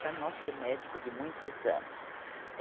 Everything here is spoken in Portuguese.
Era nosso médico de muitos anos.